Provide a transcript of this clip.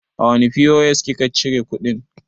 A wane POS ki ka cire kuɗin?